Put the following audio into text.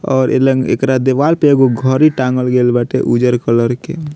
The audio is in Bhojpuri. और इ लन एकरा दीवाल पे एगो घड़ी टाँगल गइल बाटे उज्जर कलर के।